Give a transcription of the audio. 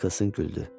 Nikkelsin güldü.